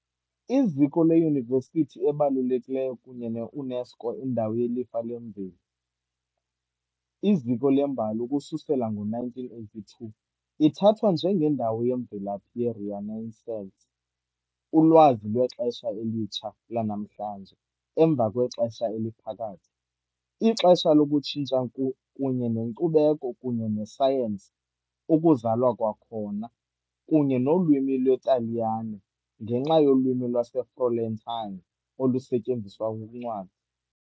Iziko leyunivesithi ebalulekileyo kunye ne -UNESCO indawo yelifa lemveli, iziko lembali, ukususela ngo-1982, ithathwa njengendawo yemvelaphi ye-Renaissance - ulwazi lwexesha elitsha lanamhlanje emva kweXesha Eliphakathi, ixesha lokutshintsha kunye nenkcubeko kunye nesayensi " ukuzalwa kwakhona" - kunye nolwimi lwesiTaliyane, ngenxa yolwimi lwaseFlorentine olusetyenziswa kuncwadi.